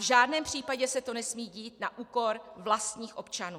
V žádném případě se to nesmí dít na úkor vlastních občanů.